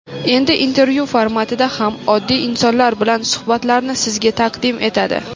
Endi intervyu formatida ham oddiy insonlar bilan suhbatlarni sizga taqdim etadi.